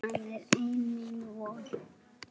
Hann er mín eina von.